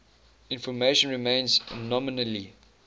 information remains nominally